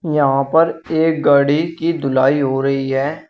यहां पर एक गाड़ी की धुलाई हो रही है।